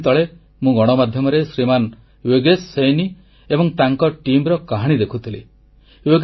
ଏଇ କିଛିଦିନ ତଳେ ମୁଁ ଗଣମାଧ୍ୟମରେ ଶ୍ରୀମାନ ୟୋଗେଶ ସୈନୀ ଏବଂ ତାଙ୍କ ଦଳର କାହାଣୀ ଦେଖୁଥିଲି